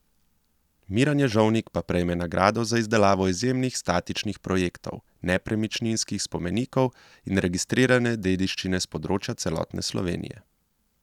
Miran Ježovnik pa prejme nagrado za izdelavo izjemnih statičnih projektov nepremičnih spomenikov in registrirane dediščine s področja celotne Slovenije.